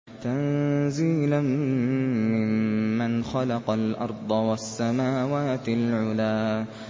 تَنزِيلًا مِّمَّنْ خَلَقَ الْأَرْضَ وَالسَّمَاوَاتِ الْعُلَى